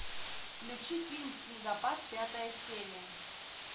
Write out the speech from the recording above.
включи фильм снегопад пятая серия